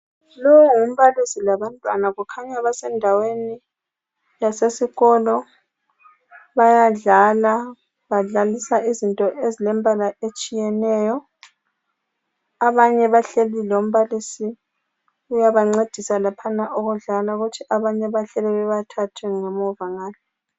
Lowu ngumbalisi labantwana, kukhanya basendaweni yasesikolo, bayadlala, badlalisa izinto ezilembala etshiyeneyo, abanye bahleli lombalisi uyabancedisa laphana ukudlala kuthi abanye bahleli bebathathu ngemuva ngale.